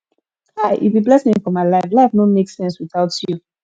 kai you be blessing for my life life no make sense without you